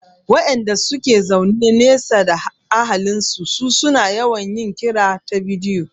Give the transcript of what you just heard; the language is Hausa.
Waƴanda suke zaune nesa da ahalin su su na yawan yin kira ta bidiyo